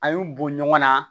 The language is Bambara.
A y'u bɔ ɲɔgɔn na